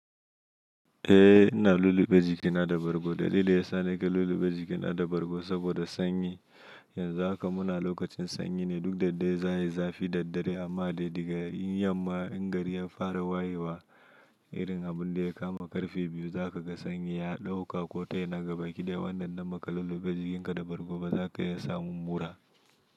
Eh ina lulluɓe jikina da bargo. Dalili ya sa nake lulluɓe jikina da bargo saboda sanyi. Yanzu haka muna lokacin sanyi ne, duk da dai za a yi zafi daddare amma dai daga in yamma in gari ya fara wayewa irin abun da ya kama karfe biyu za ka ga sanyi ya ɗauka ko tayi na gaba ki dai wannan na maka lulluɓe jikinka da bargo ba za ka iya samun mura.